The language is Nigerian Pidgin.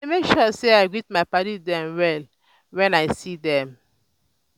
i dey make sure sey i greet my paddy dem well wen i see dem.